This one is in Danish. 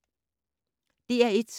DR1